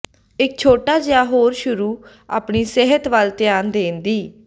ਇੱਕ ਛੋਟਾ ਜਿਹਾ ਹੋਰ ਸ਼ੁਰੂ ਆਪਣੀ ਸਿਹਤ ਵੱਲ ਧਿਆਨ ਦੇਣ ਦੀ